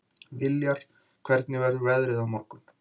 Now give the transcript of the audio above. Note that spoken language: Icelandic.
Viljar, hvernig verður veðrið á morgun?